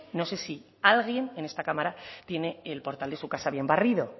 no sé si alguien en esta cámara tiene el portal de su casa bien barrido